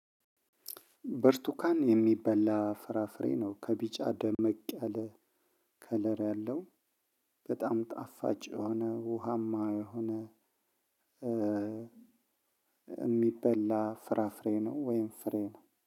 በርቱካን የሚበላ ፍራፍሬ ነው ከቢጫ ደመቅ ያለ ከለር ያለው በጣም ጣፋጭ የሆነ ውሃማ የሆነ። የሚበላ ፍራፍሬ ነው ወይም ፍሬ ነው።